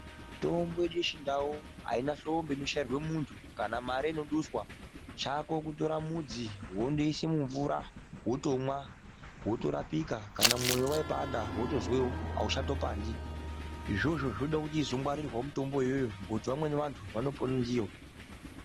Mitombo yechindau aina hlombe inochairwe munthu kana mare inoduswa chako kutora mudzi wondoise mumvura wotomwa wotorapika kana mwoyo waipanda wotozwa auchatopandi izvozvo zvode kuti izongwarirwawo mitombo iyoyoyo ngokuti vamweni vanthu vanopone ndiyo.